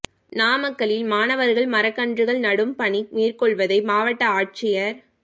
நாமக்கல்லில் மாணவா்கள் மரக்கன்றுகள் நடும் பணி மேற்கொள்வதை மாவட்ட ஆட்சியா் கா